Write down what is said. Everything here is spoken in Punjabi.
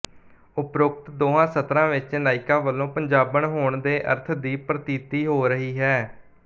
ਓਪਰੋਕਤ ਦੋਹਾਂ ਸਤਰਾਂ ਵਿੱਚ ਨਾਇਕਾ ਵੱਲੋਂ ਪੰਜਾਬਣ ਹੋਣ ਦੇ ਅਰਥ ਦੀ ਪ੍ਰਤੀਤੀ ਹੋ ਰਹੀ ਹੈ